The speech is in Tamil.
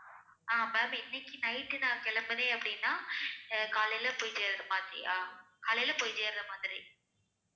ஆஹ் ma'am இன்னைக்கு night நான் கிளம்புறேன் அப்படின்னா ஆஹ் காலையில போயி சேர்ற மாதிரியா காலையில போய் சேர்ற மாதிரி